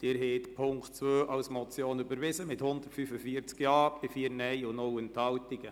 Sie haben Punkt 2 als Motion überwiesen, mit 145 Ja- bei 4 Nein-Stimmen und 0 Enthaltungen.